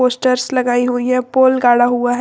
Stairs लगाई हुई है पोल गढ़ा हुआ है।